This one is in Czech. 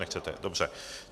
Nechcete, dobře.